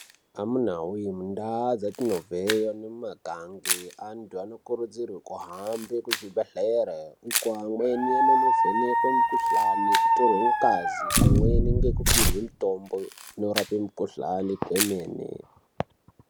Amunawe mundau dzatinobva nemumakange antu anokurudzirwe kuhambe kuzvibhehlera uko amweni anoende kunovhenekwa mukuhlani kutorwe ngazi pamweni ngekupihwe mitombo inorape mukuhlani kwemene.